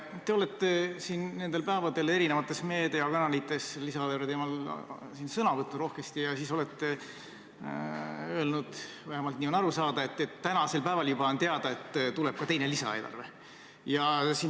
Te olete nendel päevadel eri meediakanalites lisaeelarve teemal rohkesti sõna võtnud ja öelnud – vähemalt nii on aru saada –, et tänasel päeval on juba teada, et tuleb ka teine lisaeelarve.